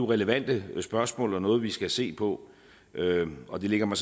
relevante spørgsmål og noget vi skal se på og det ligger mig